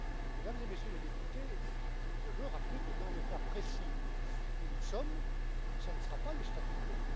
Mesdames et Messieurs les députés, je veux rappeler que, dans le cas précis où nous sommes, ce ne sera pas le statu quo.